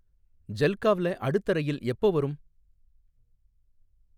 ஜல்காவ்ல அடுத்த ரயில் எப்போ வரும்?